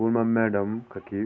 स्कूल मा मैडम कखी --